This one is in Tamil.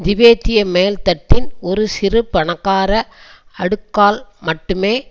திபெத்திய மேல்தட்டின் ஒரு சிறு பணக்கார அடுக்கால் மட்டுமே